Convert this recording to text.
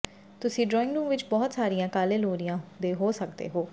ਤੁਸੀਂ dining room ਵਿੱਚ ਬਹੁਤ ਸਾਰੀਆਂ ਕਾਲੇ ਲੋਰੀਆਂ ਦੇ ਸਕਦੇ ਹੋ